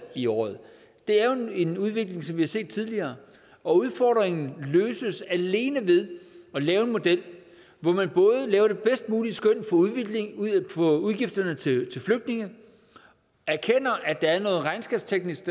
i året det er jo en udvikling som vi har set tidligere og udfordringen løses alene ved at lave en model hvor man både laver det bedst mulige skøn for udgifterne til flygtninge og erkender at der er noget regnskabsteknisk